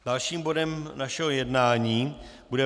Dalším bodem našeho jednání bude